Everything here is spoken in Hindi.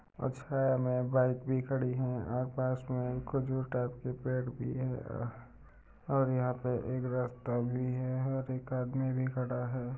अ छाया में बाइक भी खड़ी है। और पास में कुछ के पेड़ भी है। और यहाँ पे एक रास्ता भी है। और एक आदमी भी खड़ा है।